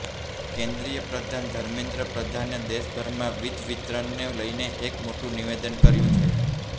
કેન્દ્રીય પ્રધાન ધર્મેન્દ્ર પ્રધાને દેશભરમાં વીજ વિતરણને લઇને એક મોટું નિવેદન કર્યું છે